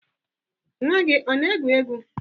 Nwa gị ọ na-egwu egwu?